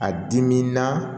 A diminan